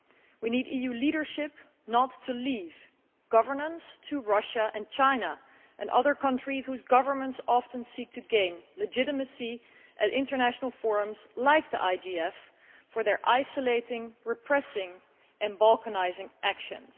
We need EU leadership not to leave governance to Russia and China and other countries whose governments often seek to gain legitimacy at international forums like the IGF for their isolating, repressing and balkanising actions.